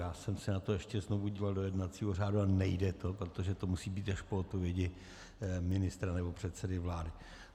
Já jsem se na to ještě znovu díval do jednacího řádu, ale nejde to, protože to musí být až po odpovědi ministra nebo předsedy vlády.